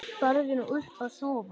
Farðu nú upp að sofa.